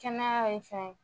Kɛnɛya ye fɛn